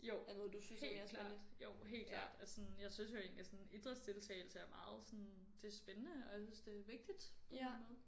Jo helt klart jo helt klart. Og sådan jeg synes jo egentlig sådan idrætsdeltagelse er meget sådan det spændende og jeg synes det vigtigt på en eller anden måde